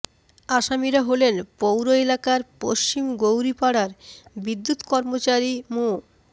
আসামিরা হলেন পৌর এলাকার পশ্চিম গৌরীপাড়ার বিদ্যুত্ কর্মচারী মো